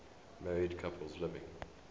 married couples living